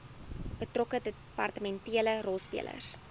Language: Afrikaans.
betrokke departementele rolspelers